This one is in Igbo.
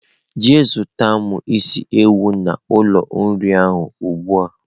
Jee zutara m isi ewu n'ulo nri ahu ugbua!.